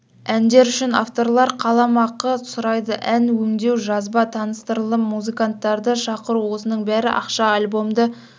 әндер үшін авторлар қаламақы сұрайды ән өңдеу жазба таныстырылым музыканттарды шақыру осының бәрі ақша альбомды